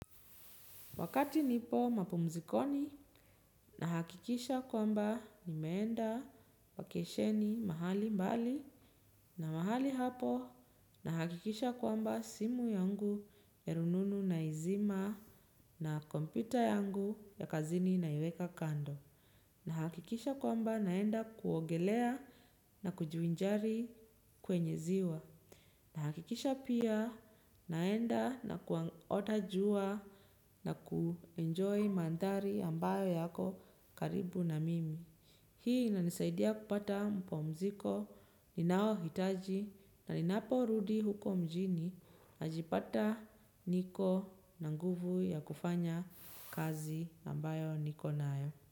Wakati nipo mapumzikoni nahakikisha kwamba nimeenda wakesheni mahali mbali na mahali hapo nahakikisha kwamba simu yangu ya rununu na izima na kompyuta yangu ya kazini na iweka kando. Nahakikisha kwamba naenda kuogelea na kujuvinjari kwenye ziwa. Nahakikisha pia naenda na kuota jua na kuenjoy mandari ambayo yako karibu na mimi. Hii inanisaidia kupata mapumziko ninayo hitaji na ninapo rudi huko mjini najipata niko na nguvu ya kufanya kazi ambayo niko nayo.